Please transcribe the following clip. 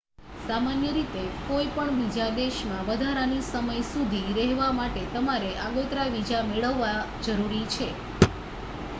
સામાન્ય રીતે કોઈ પણ બીજા દેશમાં વધારાના સમય સુધી રહેવા માટે તમારે આગોતરા વિઝા મેળવવા જરૂરી છે